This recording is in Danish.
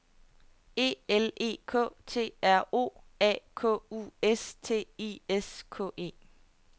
E L E K T R O A K U S T I S K E